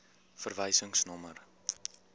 verwysingsnommer